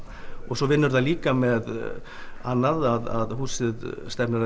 svo vinnur það líka með annað að húsið stefnir að